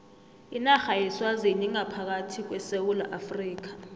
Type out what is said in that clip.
inarha yeswazini ingaphakathi kwesewula afrika